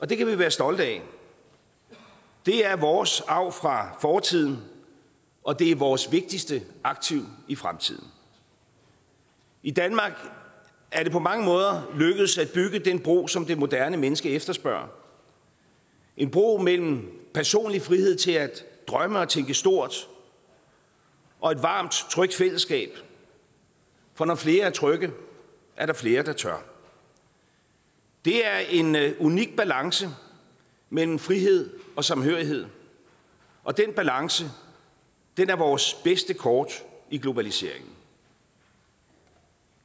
det kan vi være stolte af det er vores arv fra fortiden og det er vores vigtigste aktiv i fremtiden i danmark er det på mange måder lykkedes at bygge den bro som det moderne menneske efterspørger en bro mellem personlig frihed til at drømme og tænke stort og et varmt trygt fællesskab for når flere er trygge er der flere der tør det er en unik balance mellem frihed og samhørighed og den balance er vores bedste kort i globaliseringen